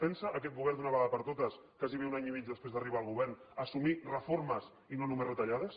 pensa aquest govern d’una vegada per totes quasi un any i mig després d’arribar al govern assumir reformes i no només retallades